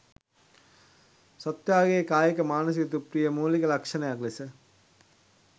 සත්ත්වයාගේ කායික, මානසික, තෘප්තියේ මූලික ලක්ෂණයක් ලෙස